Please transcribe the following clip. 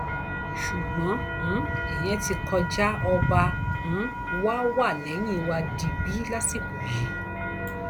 ṣùgbọn um ìyẹn ti kọjá ọba um wa wà lẹyìn wa digbí lásìkò yìí